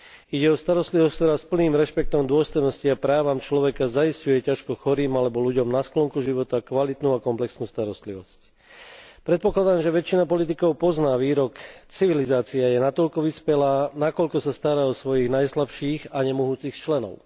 Ide o starostlivosť, ktorá s plným rešpektom dôstojnosti a právam človeka zaisťuje ťažko chorým alebo ľuďom na sklonku života kvalitnú a komplexnú starostlivosť. Predpokladám, že väčšina politikov pozná výrok Civilizácia je natoľko vyspelá, nakoľko sa stará o svojich najslabších a nemohúcich členov.